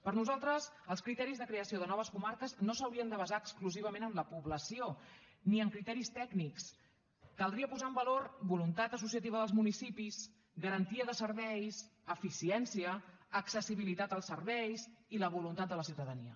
per nosaltres els criteris de creació de noves comarques no s’haurien de basar exclusivament en la població ni en criteris tècnics caldria posar en valor voluntat associativa dels municipis garantia de serveis eficiència accessibilitat als serveis i la voluntat de la ciutadania